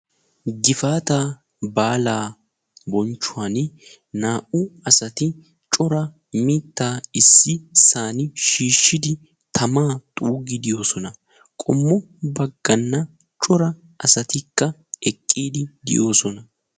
Gifaata baala bonchchuwan naa'u asatti coraa mitta shiishshiddi xuuggiddi de'osonna. Qommon cora asatti xeellosonna.